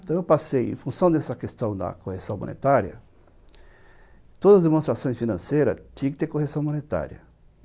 Então eu passei, em função dessa questão da correção monetária, todas as demonstrações financeiras tinham que ter correção monetária.